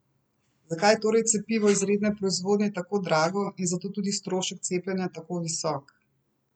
Zakaj je torej cepivo iz redne proizvodnje tako drago in zato tudi strošek cepljenja tako visok?